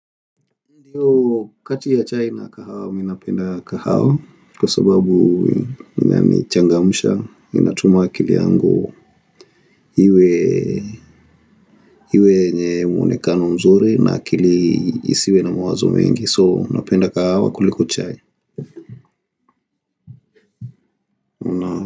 Ndiyo kati ya chai na kahawa mi napenda kahawa kwa sababu ni changamsha inatuma akili yangu hiwe hiwe yenye mwonekano mzuri na akili isiwe na mawazo mengi soo napenda kahawa kuliko chai.